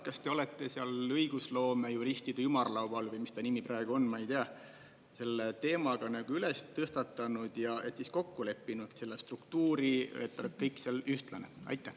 Kas te olete seal õigusloomejuristide ümarlaual või mis ta nimi praegu on, ma ei tea, selle teema ka üles tõstatanud ja kokku leppinud selle struktuuri, et oleks kõik seal ühtlane?